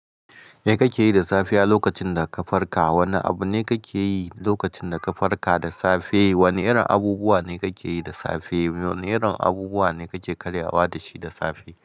Me kake yi da safe a lokacin da ka farka? Wane abu ne kake yi lokacin da ka farka da safe? Wane irin abubuwa ne kake yi da safe? Wane irin abubuwa ne kake karya wa da shi da safe?